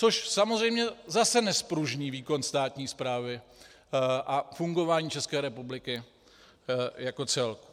Což samozřejmě zase nezpružní výkon státní správy a fungování České republiky jako celku.